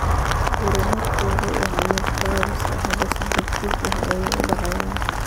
Horumarku wuxuu ahaa mid gaabis ah. Hadda si degdeg ah ayay u dhacayaan.